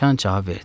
Sıcan cavab verdi.